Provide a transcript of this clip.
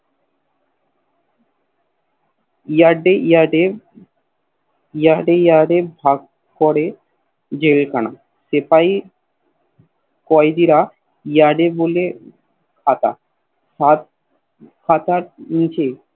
Yeard Yeard এ ভাগ করে জেলখানা সেপাহি কইদিরা Yeard এ বলে ফাকা ফাকার নিচে